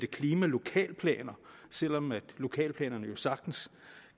klimalokalplaner selv om lokalplanerne jo sagtens